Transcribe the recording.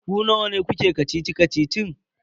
Ku nawa ne kuke kacici-kacicin?